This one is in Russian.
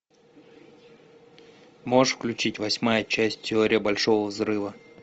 можешь включить восьмая часть теория большого взрыва